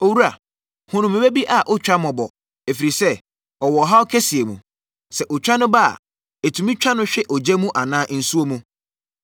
“Owura, hunu me ba bi a ɔtwa mmɔbɔ, ɛfiri sɛ, ɔwɔ ɔhaw kɛseɛ mu. Sɛ otwa no ba a, ɛtumi twa no hwe ogya anaa nsuo mu.